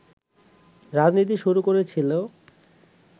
রাজনীতি শুরু করেছিলো”